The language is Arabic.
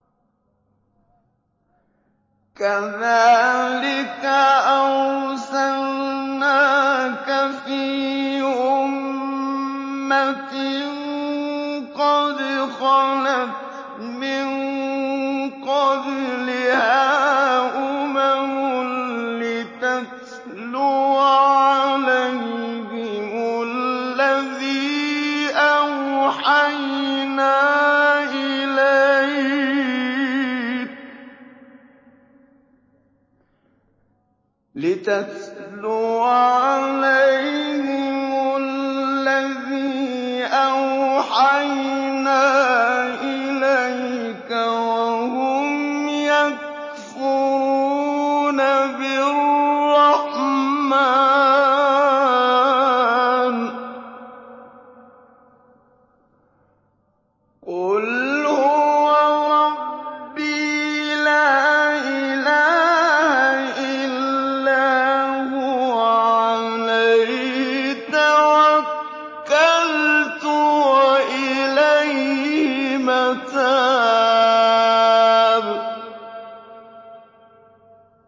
كَذَٰلِكَ أَرْسَلْنَاكَ فِي أُمَّةٍ قَدْ خَلَتْ مِن قَبْلِهَا أُمَمٌ لِّتَتْلُوَ عَلَيْهِمُ الَّذِي أَوْحَيْنَا إِلَيْكَ وَهُمْ يَكْفُرُونَ بِالرَّحْمَٰنِ ۚ قُلْ هُوَ رَبِّي لَا إِلَٰهَ إِلَّا هُوَ عَلَيْهِ تَوَكَّلْتُ وَإِلَيْهِ مَتَابِ